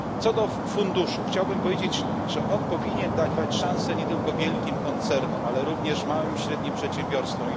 Odnośnie do funduszu chciałbym powiedzieć, że powinien on dawać szansę nie tylko wielkim koncernom, ale również małym i średnim przedsiębiorstwom.